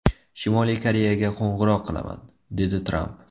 Shimoliy Koreyaga qo‘ng‘iroq qilaman”, dedi Tramp.